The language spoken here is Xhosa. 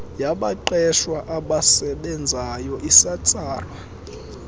yabaqeshwa abasebenzayo iyatsalwa